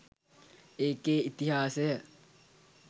ඒකෙ ඉතිහාසය